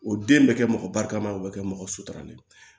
O den bɛ kɛ mɔgɔ barikama o bɛ kɛ mɔgɔ suturalen ye